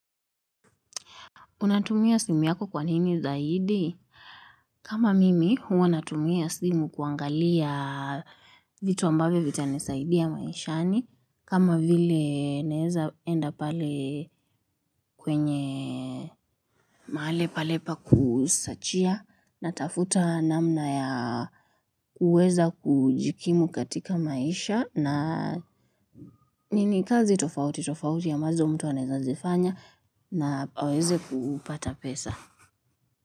Unatumia simu yako kwa nini zaidi? Kama mimi, huwa natumia simu kuangalia vitu ambavyo vitanisaidia maishani. Kama vile naeza enda pale kwenye mahali pale pa kusachia natafuta namna ya kuweza kujikimu katika maisha na ni kazi tofauti tofauti ambazo mtu aneza zifanya na aweze kupata pesa.